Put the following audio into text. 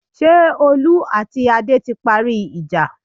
Ṣé Olú àti Adé ti parí ìjà?